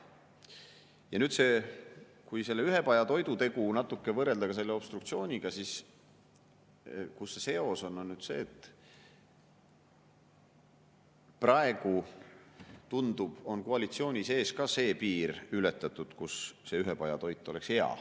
Ja nüüd kui seda ühepajatoidu tegu natuke võrrelda obstruktsiooniga, siis seos on selles, et praegu, tundub, on koalitsiooni sees ka ületatud see piir, kus see ühepajatoit oleks hea.